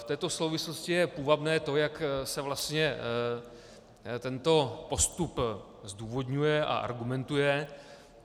V této souvislosti je půvabné to, jak se vlastně tento postup zdůvodňuje a argumentuje.